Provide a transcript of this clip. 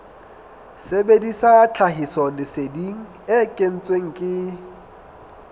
sebedisa tlhahisoleseding e kentsweng ke